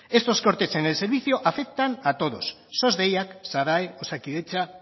estos cortes en el servicio afectan a todos sos deiak sadae osakidetza